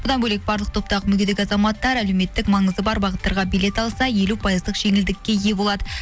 бұдан бөлек барлық топтағы мүгедек азаматтар әлеуметтік маңызы бар бағыттарға билет алса елу пайыздық жеңілдікке ие болады